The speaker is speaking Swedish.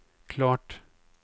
klart